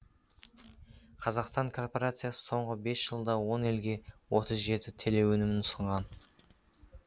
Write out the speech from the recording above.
қазақстан корпорациясы соңғы бес жылда он елге отыз жеті телеөнімін ұсынған